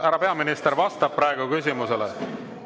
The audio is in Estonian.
Härra peaminister vastab praegu küsimusele.